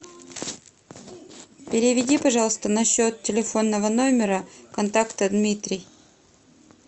переведи пожалуйста на счет телефонного номера контакта дмитрий